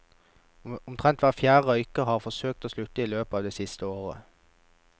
Omtrent hver fjerde røyker har forsøkt å slutte i løpet av det siste året.